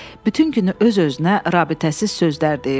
Bütün günü öz-özünə rabitəsiz sözlər deyirdi.